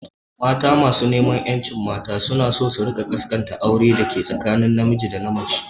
Mata masu rajin ƴancin mata suna so ne su rika kaskanta aure dake tsakanin na miji da mace